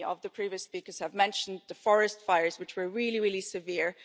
Many of the previous speakers mentioned the forest fires, which were really, really severe.